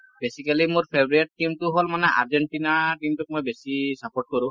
basically মোৰ favorite team টো হল মানে আৰ্জেণ্টিনা team টোক মই বেছি support কৰো ।